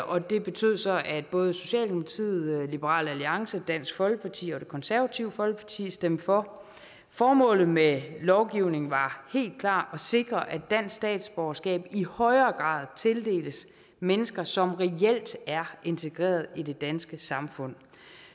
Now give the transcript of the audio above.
og det betød så at både socialdemokratiet liberal alliance dansk folkeparti og det konservative folkeparti stemte for formålet med lovgivningen var helt klart at sikre at dansk statsborgerskab i højere grad tildeles mennesker som reelt er integreret i det danske samfund